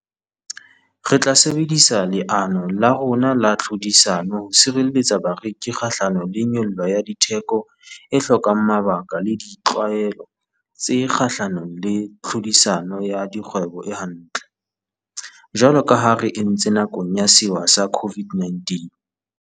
Re tla sebedisa leano la rona la tlhodisano ho sireletsa bareki kgahlano le nyollo ya ditheko e hlokang mabaka le ditlwaelo tse kgahlanong le tlhodisano ya dikgwebo e hantle, jwalo ka ha re entse nakong ya sewa sa COVID-19.